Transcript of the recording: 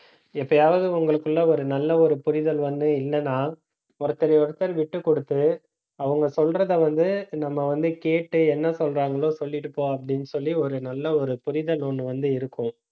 எப்பயாவது உங்களுக்குள்ள ஒரு நல்ல ஒரு புரிதல் வந்து இல்லைன்னா ஒருத்தரை ஒருத்தர் விட்டுக்கொடுத்து அவங்க சொல்றதே வந்து, நம்ம வந்து கேட்டு என்ன சொல்றாங்களோ சொல்லிட்டு போ அப்படின்னு சொல்லி ஒரு நல்ல ஒரு புரிதல் ஒண்ணு வந்து இருக்கும்